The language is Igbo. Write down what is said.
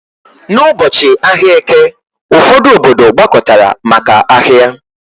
N'ụbọchị ahịa Eke, ụfọdụ obodo gbakọtara maka ahia